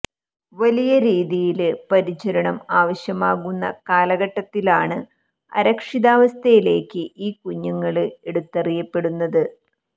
വലിയ രീതിയില് പരിചരണം ആവശ്യമാകുന്ന കാലഘട്ടത്തിലാണ് അരക്ഷിതാവസ്ഥയിലേക്ക് ഈ കുഞ്ഞുങ്ങള് എടുത്തെറിയപ്പെടുന്നത്